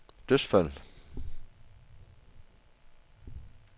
dødsfald